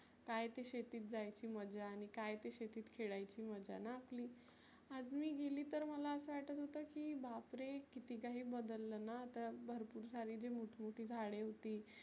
काय ती शेतीत जायची मजा आणि काय ती शेतीत खेळायची मजा ना आपली. आज मी गेली तर मला असं वाटत होतं की बाप रे किती काही बदललं ना आता. भरपुर सारी जी मोठ मोठी झाडे होती